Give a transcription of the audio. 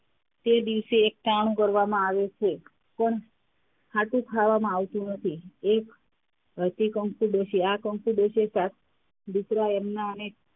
તે દિવસે એક કામ કરવામાં આવે છે. કોણ, ખાટું ખાવામાં આવતું નથી એક તે કંકુ ડોશી આ કંકુ ડોશી સાત દીકરા એમના ને,